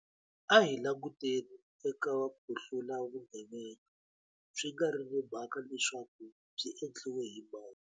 A hi languteni eka ku hlula vugevenga, swi nga ri na mhaka leswaku byi endliwe hi mani.